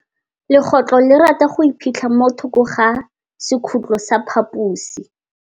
Legôtlô le rata go iphitlha mo thokô ga sekhutlo sa phaposi.